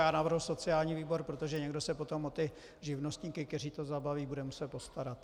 Já navrhuji sociální výbor, protože někdo se potom o ty živnostníky, kteří to zabalí, bude muset postarat.